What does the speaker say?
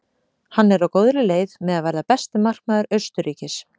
Hann er á góðri leið með að verða besti markvörður Austurríkis.